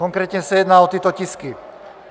Konkrétně se jedná o tyto tisky: